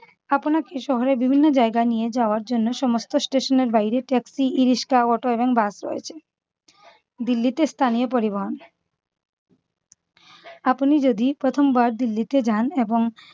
আপনাকে শহরে বিভিন্ন জায়গায় নিয়ে যাওয়ার জন্য সমস্ত station এর বাইরে taxi e-rickshaw, auto এবং bus রয়েছে । দিল্লিতে স্থানীয় পরিবহন আপনি যদি প্রথমবার দিল্লিতে যান এবং